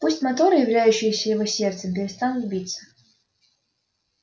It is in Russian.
пусть моторы являющиеся его сердцем перестанут биться